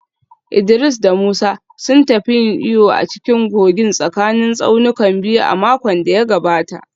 Idris da Musa sun tafi yin iyo a cikin kogin tsakanin tsaunukan biyu a makon da ya gabata